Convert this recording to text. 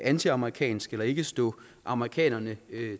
antiamerikansk eller ikke stå amerikanerne